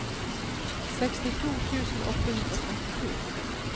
sekstito tusen åtte hundre og trettito